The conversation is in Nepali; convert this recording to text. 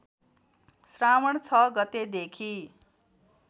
श्रावण ६ गतेदेखि